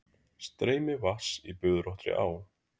Streymi vatns í bugðóttri á.